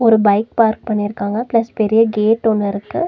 ஒரு bike park பண்ணிருக்காங்க plus பெரிய கேட் ஒன்னிருக்கு.